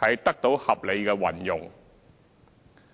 得到合理運用。